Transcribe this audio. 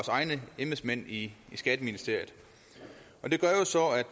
egne embedsmænd i skatteministeriet